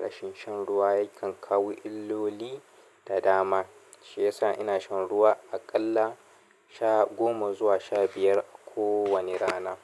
Rashin shan ruwa yakan kawo illoli da dama, shi yasa ina shan ruwa aƙalla sha goma zuwa sha biyar a kowani rana.